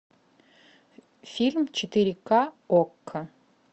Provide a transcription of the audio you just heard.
фильм четыре ка окко